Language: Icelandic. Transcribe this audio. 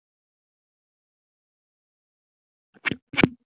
slefmundur, pantaðu tíma í klippingu á fimmtudaginn.